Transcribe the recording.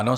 Ano.